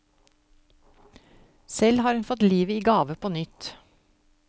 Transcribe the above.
Selv har hun fått livet i gave på nytt.